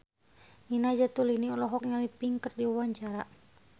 Nina Zatulini olohok ningali Pink keur diwawancara